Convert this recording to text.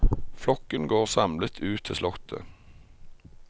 Flokken går samlet ut til slottet.